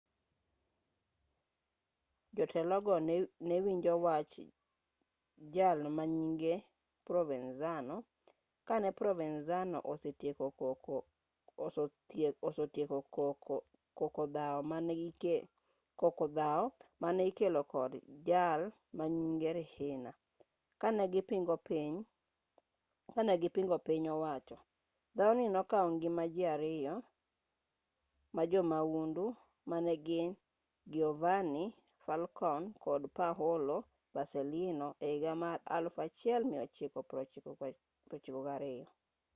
jotelogo newinjo wach jal manyinge provenzano kane provenzano osetieko koko dhaw mane ikelo kod jalmanyinge riina kanegipingo piny owacho dhaw ni nokaw ngima ji ariyo majoyahundu manegin giovanni falcone kod paolo borsellino ehiga mar 1992